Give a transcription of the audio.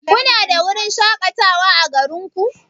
Kuna da wurin shakatawa ã garin ku?